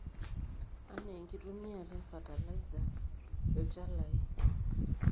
anaa enkitumiata e e fertilizer, ilchalai